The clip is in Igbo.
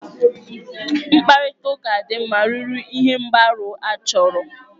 Mkparịtaụka dị mma ruru ihe mgbaru ọsọ achọrọ.